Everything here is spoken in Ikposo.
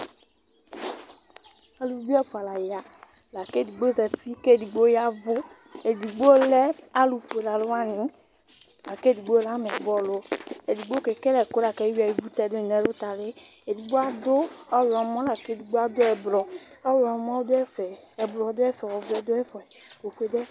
Aluvi ɛfua la ya, la k'edigbo zati k'edigbo yavʋ Edigbo lɛ alʋ ƒuele alʋ wani lak'edigbo lɛ ameyib'ɔlʋ Ɛdigbo kele akʋ lak'eyuia ivu tɛdʋ yi nʋ ɛlʋtali Edigbo adʋ ɔyɔmɔ, lak'edigbo adʋ ɛbrɔ, ɔyɔmɔ dʋ ɛfɛ, ɛbrɔ dʋ ɛfɛ, ɔvɛ dʋ ɛfɛ, ofue dʋ ɛfɛ